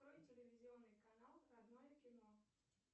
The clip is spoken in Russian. открой телевизионный канал родное кино